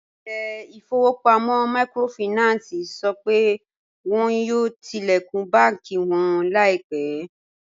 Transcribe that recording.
Ilẹ̀-ifọ̀wọ̀pamọ̀ míkrófáìnánsì sọ pé wọn yóò tilẹ̀kún bànki wọn laipẹ